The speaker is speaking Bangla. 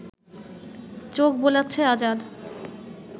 চোখ বোলাচ্ছে আজাদ